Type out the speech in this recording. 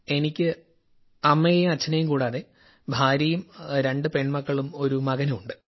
എനിക്ക് അമ്മയേയും അച്ഛനേയും കൂടാതെ ഭാര്യയും രണ്ടു പെൺമക്കളും ഒരു മകനുമുണ്ട്